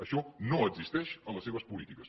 això no existeix a les seves polítiques